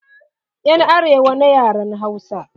Yan arewa na yaren Hausa.